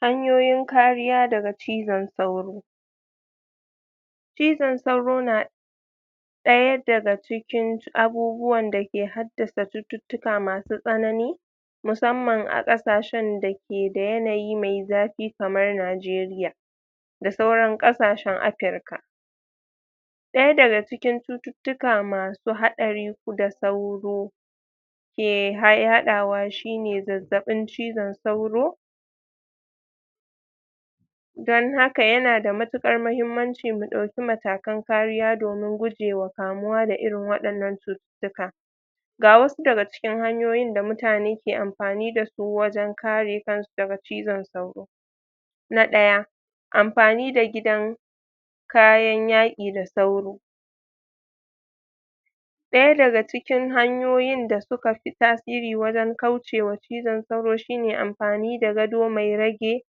Hanyoyin kariya daga cizon sauro. cizon sauro na ɗaya daga cikin abubuwan da ke haddasa cututtuka masu tsanani, musamman a ƙasashen da ke da yananyi mai zafi kamar Najeriya, da suran ƙasashen Africa. Ɗaya daga cikin cuttuka masu haɗari da sauro ke yaɗawa, shine zazzaɓin cizon sauro. Don haka yana da matuƙar mahimmancin mu ɗauki kariya, domin gujewa kamu da irin waɗannan cututtuka. Ga wasu daga cikin hanyoyin da mutane ke amfani dasu wajen ka re kansu daga cizon sauro: Na ɗaya, amfani da gidan kayan yaƙi da sauro. Ɗaya daga cikin hanyoyin da suka fi tasiri wajan kaucewa cizon sauro shine, amfani da gado mai rage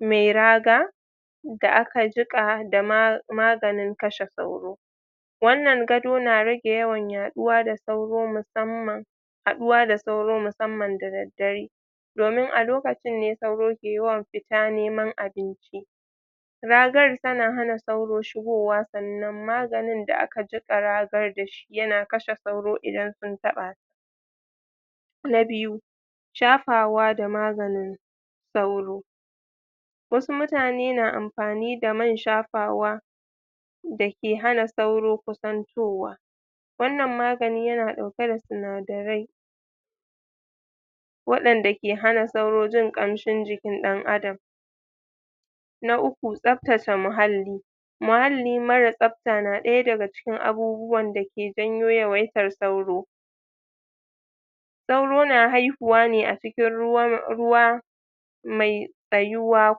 mai raga, da aka jiƙa da maganin cizon sauro. Wannan gado na rage yawan yaɗuwa da sauro, musamman haɗuwa da sauro musamman da daddare, domin a lokacin ne sauro ke yawan fita neman abinci. Ragar tana hana sauro shigowa, sannan maganin da aka jiƙa ragar dashi yana kashe sauro idan sun taɓa. Na biyu, shafawa da maganin sauro. Wasu mutane na amfani da man shafawa da ke hana sauro kusantowa, wannan magani yana ɗauke da sinadarai, waɗanda ke hana sauro jin ƙamshin jikin ɗan adam. Na uku, tsaftace muhalli. Muhalli mara tsafta na ɗaya daga cikin abubuwan da ke janyo yawaitan sauro. Sauro na haihuwa a cikin ruwa mai tsayuwa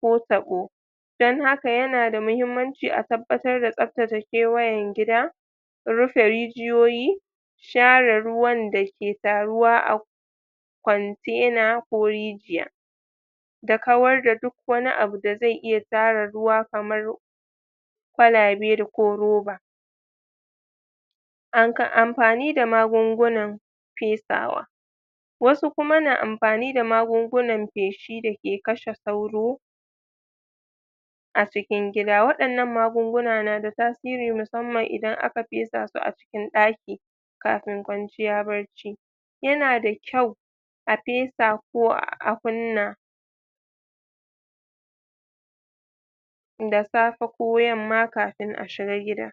ko taɓo, dan haka yana da mahimmanci a tabbatar da tsaftace kewayen gida, rufe rijiyoyi, share ruwan da ke taruwa a kontena ko rijiya, da kawar da duk wani abu da zai iya tara ruwa kamar kwalabe da ko roba. Amfani da magungunan fesawa. Wasu kuma na amfani da magungunan feshi da ke kashe sauro a cikin gida, waɗannan magunguna na da tasiri musamman idan aka fesa su a cikin ɗaki kafin kwanciya bacci. Yana da kyau a fesa ko a kunna da safe ko yamma, kafin a shiga gida.